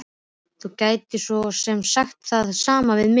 Þú gætir svo sem sagt það sama við mig.